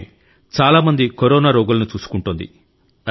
ఆమె చాలా మంది కరోనా రోగులను చూసుకుంటోంది